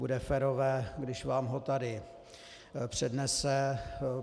Bude férové, když vám ho tady přednese.